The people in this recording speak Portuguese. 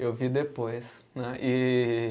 Eu vi depois, né. E